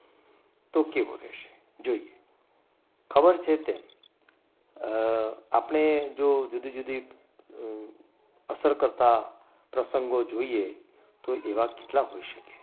તો કેવું રહેશે? જોઈએ ખબર છે તેમ અમ આપણે જો જુદી જુદી અસર કરતા પ્રસંગો જોઈએ તો એવા કેટલા હોઈ શકે.